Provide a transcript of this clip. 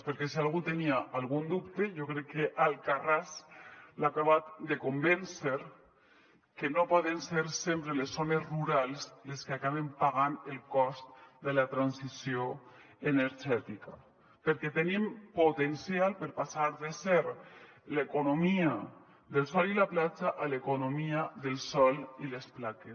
perquè si algú tenia algun dubte jo crec que alcarràs l’ha acabat de convèncer que no poden ser sempre les zones rurals les que acaben pagant el cost de la transició energètica perquè tenim potencial per passar de ser l’economia del sol i la platja a l’economia del sòl i les plaques